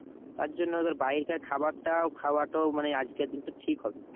তার জন্য বাইরেরকার খাবারটা খাওয়াটাও মানে আজকে কিন্তু ঠিক হবে না।